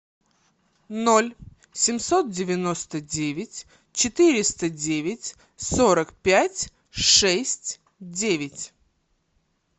ноль семьсот девяносто девять четыреста девять сорок пять шесть девять